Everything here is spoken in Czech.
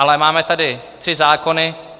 Ale máme tady tři zákony.